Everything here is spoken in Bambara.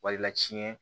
Walila tiɲɛ